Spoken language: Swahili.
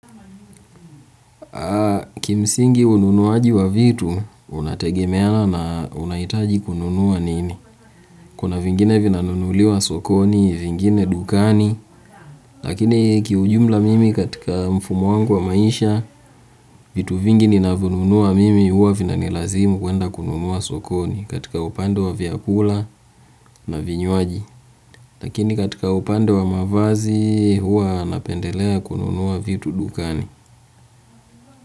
Kimsingi ununuaji wa vitu, unategemea na unahitaji kununua nini. Kuna vingine vinanunuliwa sokoni, vingine dukani. Lakini kiujumla mimi katika mfumo wangu wa maisha vitu vingi ninanvyonunua mimi huwa vinanilazimu kununua sokoni, katika upande ya vyakula na vinywaji lakini katika upande wa mavazi, huwa napendelea kununua vitu dukani.